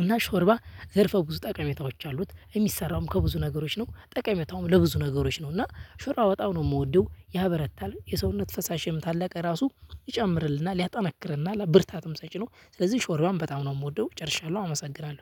እና ሾርባ ዘርፈ ብዙ ጠቅሜታዎች አሉት። የሚሰራውም ከብዙ ነገሮች ነው ጠቀሜታውም ለብዙ ነገሮች ነው። እና ሾርባ በጣም ነው የምወደው ያበረታል የሰውነት ፈሳሽ ያመጣል ራሱ ይጨምርልናል ያጠነክርናል ብርታትም ሰጪ ነው። ስለዚህ ሾርባን በጣም ነው የምወደው። ጨርሻለሁ አመሰግናለሁ